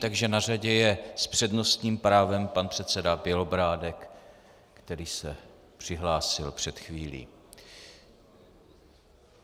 Takže na řadě je s přednostním právem pan předseda Bělobrádek, který se přihlásil před chvílí.